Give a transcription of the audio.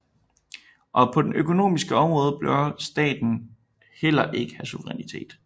Og på det økonomiske område bør staten heller ikke have suverænitet